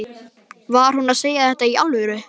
Var hún að segja þetta í alvöru?